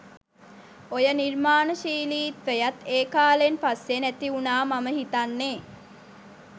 ඔය නිර්මානශීලීත්වයත් ඒ කාලෙන් පස්සේ නැතිවුනා මම හිතන්නේ.